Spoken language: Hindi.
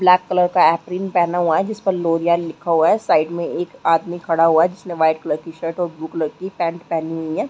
ब्लैक कलर का अफ्रीन पहना हुआ है जिसमे लोरिया लिखा हुआ है साइड में एक आदमी खड़ा हुआ जिसने वाइट कलर की शर्ट और ब्लू कलर की पैंट पहनी हुई है।